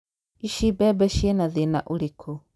ĩci mbembe cĩina thĩna ũrĩkũ